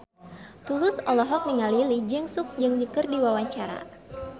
Tulus olohok ningali Lee Jeong Suk keur diwawancara